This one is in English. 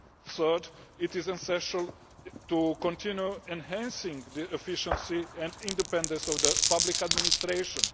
Third, it is essential to continue enhancing the efficiency and independence of public administration.